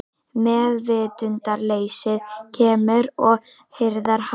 Meðvitundarleysið kemur og hirðir hann.